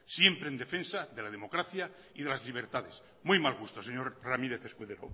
siempre en defensa de la democracia y de las libertades muy mal gusto señor ramírez escudero